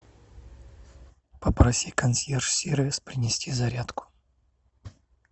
попроси консьерж сервис принести зарядку